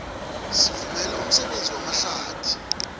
sivumele umsebenzi wamahlathi